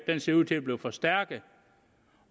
den ser ud til at blive forstærket